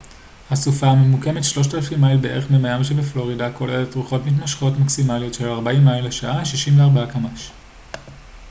"הסופה הממוקמת 3,000 מייל בערך ממיאמי שבפלורידה כוללת רוחות מתמשכות מקסימליות של 40 מייל לשעה 64 קמ""ש.